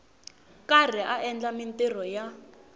karhi a endla mintirho ya